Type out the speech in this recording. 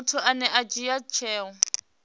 muthu ane a dzhia tsheo